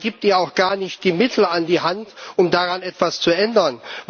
Man gibt ihr auch gar nicht die Mittel an die Hand, um daran etwas zu ändern.